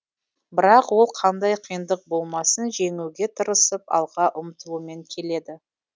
бірақ ол қандай қиындық болмасын жеңуге тырысып алға ұмтылумен келеді